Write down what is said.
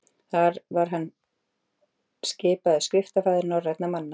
þar var hann skipaður skriftafaðir norrænna manna